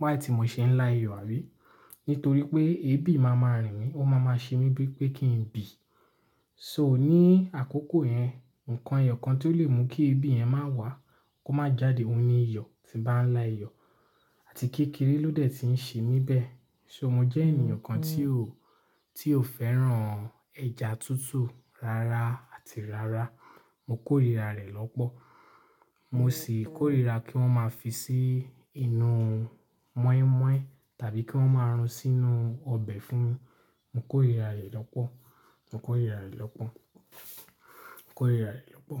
why tí mo ṣe ń la iyọ̀ àbí? Nítorí pé ebi máa ma rìn mí, ó máa ma ṣe mí bí pé kí n bì. So ní àkókò yẹn, nǹkan eyo kan tí ó lè mú kí ebi yẹn má wà, kó má jáde, òun ni iyọ̀ tí n bá ń la iyọ̀. Àti kékeré ló dẹ̀ ti ń ṣe mí bẹ̀. So mo jẹ́ ènìyàn kan tí ò, tí ò fẹ́ràn ẹja tútù rárá àti rárá. Mo kórìíra rẹ̀ lọ́pọ̀. Mo sì kórìra kí wọ́n máa fi sí inú mọ́ínmọ́ín tàbí kí wọ́n máa rún sínú ọbẹ̀ fún mi. Mo kórìíra rẹ̀ lọ́pọ̀. Mo kórìíra rẹ̀ lọ́pọ̀. Mo kórìíra rẹ̀ lọ́pọ̀.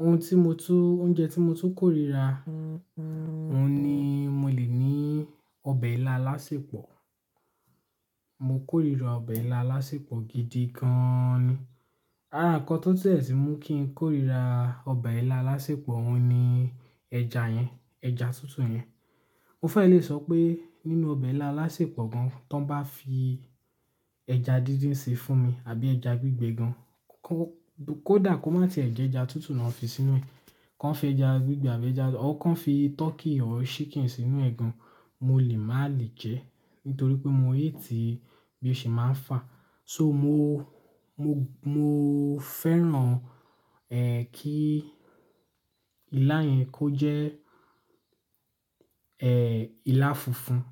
Ohun tí mo tún, oúnjẹ tí mo tún kórìíra, ohun ni mo lè ní ọbẹ̀ ilá alásèpọ̀. Mo kórìíra ọbẹ̀ ilá alásèpọ̀ gidi gan ni. Àrá nǹkan tó dẹ̀ tu mú kí n kórìíra ọbẹ̀ ilá alásèpọ̀, òun ni ẹja yẹn, ẹja tútù yẹn. Mo fẹ́ lè sọ pé nínú ọbẹ̀ ilá alásèpọ̀ gan, tí wọ́n bá fi ẹja díndín ṣe fún mi àbí ẹja gbígbẹ gan, kó dà kó má ti ẹ̀ jẹ ẹja tútù náà fi sínú ẹ. Kọ́ fi ẹja gbígbẹ àbí ẹja, ọ̀r kan fi turkey or chicken sínú ẹ̀ gan, mo lè má lè jẹ ẹ́. Nítorí pé mo hate bí ó ṣe máa ń fà. So mo, mo, mo fẹ́ràn, kí ilá yẹn kó jẹ́, ilá funfun.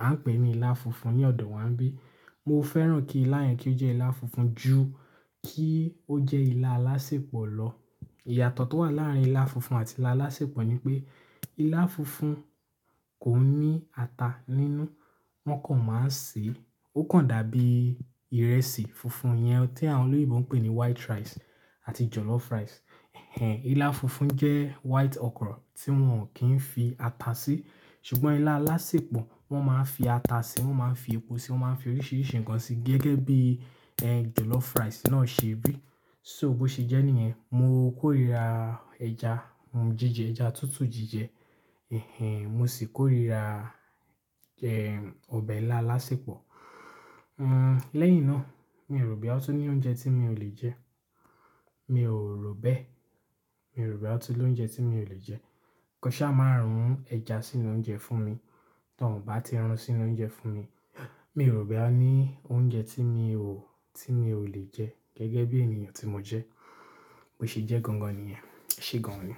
A ń pè ní ilá funfun ní ọ̀dọ̀ wa bí. Mo fẹ́ràn kí ilá yẹn kí ó jẹ́ ilá funfun ju kí ó jẹ́ ilá alásèpọ̀ lọ. Ìyàtọ̀ tó wà láàárín ilá funfun àti ilá alásèpọ̀ ni pé ilá funfun kò ní ata nínú. Wọ́n kàn máa ń ṣe, ó kàn dàbí ìrẹsì funfun yẹn tí àwọn olóyinbo ń pè ní white rice àti jollof rice. Ilá funfun jẹ́ white ọkrọ̀ tí wọ́n kì í fi ata sí. Ṣùgbọ́n ilá alásèpọ̀, wọ́n máa ń fi ata sí, wọ́n máa ń fi epo sí, wọ́n máa ń fi oríṣiríṣi nǹkan sí gẹ́gẹ́ bí, jollof rice náà ṣe bí. So bó ṣe jẹ́ níyẹn, mo kórìíra ẹja, jije ẹja tútù jíjẹ. Mo sì kórìíra, ọbẹ̀ ilá alásèpọ̀. Lẹ́yìn náà, mi ò rò bóyá ó tún ní oúnjẹ tí mi ò lè jẹ. Mi ò rò bẹ́. Mi ò rò bóyá ó tún ní oúnjẹ tí mi ò lè jẹ. Kọ́ ṣá máa rún ẹja sínú oúnjẹ fún mi. Tọ́n ò bá ti run sínú oúnjẹ fún mi, mi ò rò boya ó ní oúnjẹ tí mi ò, tí mi ò lè jẹ gẹ́gẹ́ bí ènìyàn tí mo jẹ́. Bo sì jẹ́ gangan nìyẹn. E ṣé gan ni.